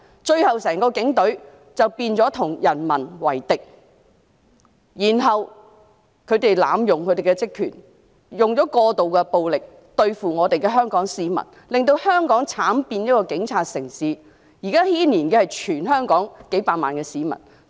最後，整個警隊變成與民為敵，他們濫用職權，使用過度武力對付香港市民，令香港慘變警察城市，現在牽連的是全港數百萬市民。